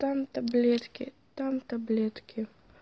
там таблетки там таблетки